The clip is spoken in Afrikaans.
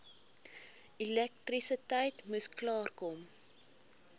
elektrisiteit moes klaarkom